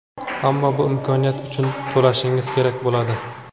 ammo bu imkoniyat uchun to‘lashingiz kerak bo‘ladi.